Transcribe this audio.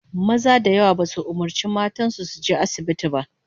Maza da yawa basu umurci matan su su je asibitin ba